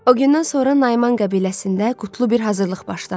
O gündən sonra Naiman qəbiləsində qutlu bir hazırlıq başlandı.